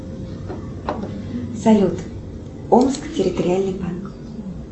салют омск территориальный банк